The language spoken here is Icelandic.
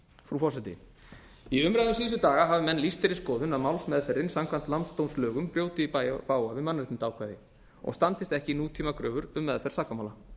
frú forseti í umræðum síðustu daga hafa menn lýst þeirri skoðun að málsmeðferðin samkvæmt landsdómslögum brjóti í bága við mannréttindaákvæði og standist ekki nútímakröfur um meðferð sakamála